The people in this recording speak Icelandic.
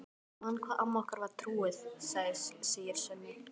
Já, ég man hvað amma okkar var trúuð, segir Svenni.